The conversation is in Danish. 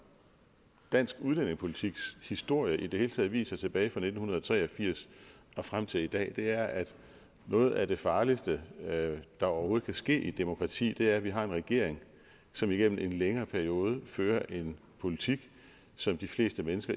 dansk udlændingepolitiks historie i det hele taget viser tilbage fra nitten tre og firs frem til i dag er at noget af det farligste der overhovedet kan ske i et demokrati er at vi har en regering som igennem en længere periode fører en politik som de fleste